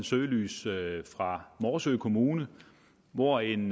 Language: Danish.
søgelys fra morsø kommune hvor en